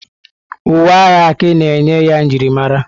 Uwe agha Aki na-enye ya njirimara.